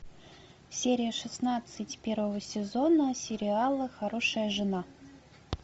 серия шестнадцать первого сезона сериала хорошая жена